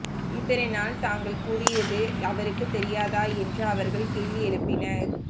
இத்தனை நாள் தாங்கள் கூறியது அவருக்கு தெரியாதா என்றும் அவர்கள் கேள்வி எழுப்பினர்